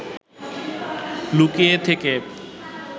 লুকিয়ে থেকে